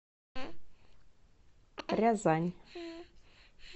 рязань